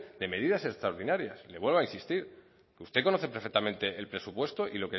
de medidas extraordinarias le vuelvo a insistir usted conoce perfectamente el presupuesto y